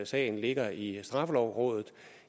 sagen ligger i straffelovrådet